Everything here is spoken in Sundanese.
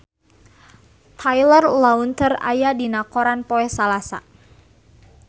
Taylor Lautner aya dina koran poe Salasa